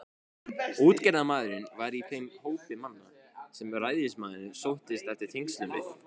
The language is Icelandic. Útgerðarmaðurinn var í þeim hópi manna, sem ræðismaðurinn sóttist eftir tengslum við.